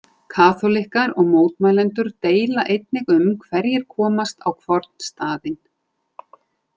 Kaþólikkar og mótmælendur deila einnig um hverjir komist á hvorn staðinn.